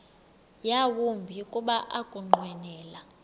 yawumbi kuba ukunqwenela